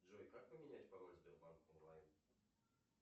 джой как поменять пароль сбербанк онлайн